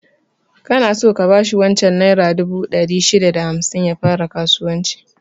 Kana so ka bashi wancan naira dubu ɗari shida da hamsin ya fara kasuwanci?